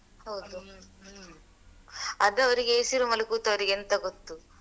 ಅದ್ ಅವ್ರಿಗೆ AC room ಅಲ್ಲಿ ಕೂತವ್ರಿಗೆ ಎಂತ ಗೊತ್ತು.